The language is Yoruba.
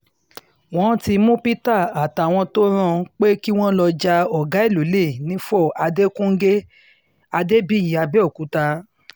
wọ́n ti mú peter àtàwọn tó rán pé kí wọ́n lọ́ọ́ ja ọ̀gá ẹ̀ lọ́lẹ̀ nifo adéfúnge adébíyí abẹ́ọ̀kúta